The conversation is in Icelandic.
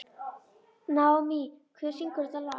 Naómí, hver syngur þetta lag?